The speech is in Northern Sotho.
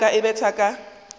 ya ka e betha ka